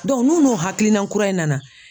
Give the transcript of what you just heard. n'u n'u hakilina kura in nana.